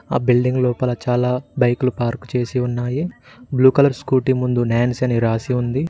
ఆ బిల్డింగ్ లోపల చాలా బైకులు పార్కు చేసి ఉన్నాయి బ్లూ కలర్ స్కూటీ ముందు నాన్స్ అని రాసి ఉంది.